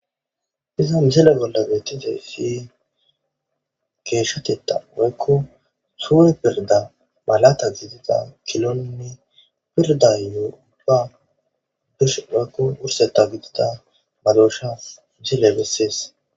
Ha missileza bolla bettizayiss geshshatetha woyikko sureteththa malata gidiza kilonne izetayo go'a woyikko wurseththa gidid madoshsha misile beesses